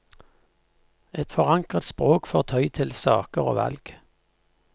Et forankret språk fortøyd til saker og valg.